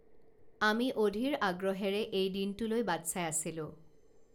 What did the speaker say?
আমি অধীৰ আগ্ৰহেৰে এই দিনটোলৈ বাট চাই আছিলোঁ